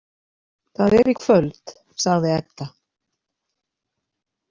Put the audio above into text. Það er í kvöld, sagði Edda.